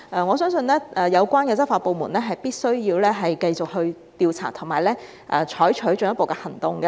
我相信有關執法部門必須繼續調查及採取進一步的行動。